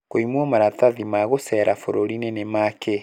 kũimwo maratathi ma gucera bũrũrinĩ nĩ ma kĩ?